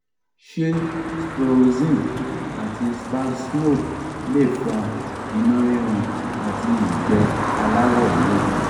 ṣé sproxyne àti spasmo lè fa inu rirun ati igbe alawo ewe